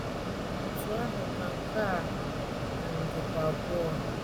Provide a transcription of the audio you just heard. Otú ahụ ka nke a um dịkwa abụọ.